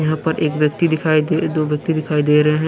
यहाँ पर एक व्यक्ति दिखाई दे दो व्यक्ति दिखाई दे रहे हैं।